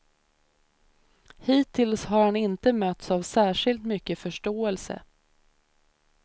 Hittills har han inte mötts av särskilt mycket förståelse.